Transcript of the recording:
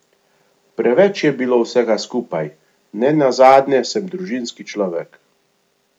Preveč je bilo vsega skupaj, nenazadnje sem družinski človek.